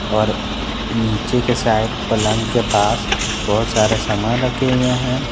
और नीचे के साइड पलंग के पास बहुत सारे सामान रखे हुए हैं।